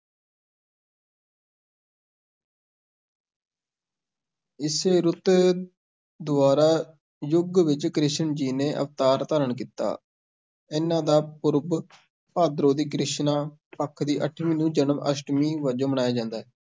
ਇਸੇ ਰੁਤ ਦੁਆਰਾ ਯੁੱਗ ਵਿੱਚ ਕ੍ਰਿਸ਼ਨ ਜੀ ਨੇ ਅਵਤਾਰ ਧਾਰਨ ਕੀਤਾ, ਇਹਨਾਂ ਦਾ ਪੂਰਬ, ਭਾਦਰੋਂ ਦੀ ਕ੍ਰਿਸ਼ਨਾ-ਪੱਖ ਦੀ ਅੱਠਵੀਂ ਨੂੰ ਜਨਮ-ਅਸ਼ਟਮੀ ਵਜੋਂ ਮਨਾਇਆ ਜਾਂਦਾ ਹੈ।